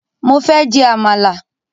Mo fẹ́ jẹ Àmàlà